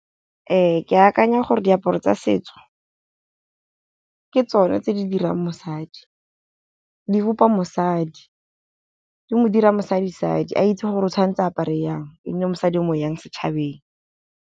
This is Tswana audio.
Ke akanya gore diaparo tsa setso, ke tsona tse di dirang mosadi. Di bopa mosadi, di mo dira mosadi sadi a itse gore o tshwanetse apare jang e nne mosadi o mo jang setšhabeng.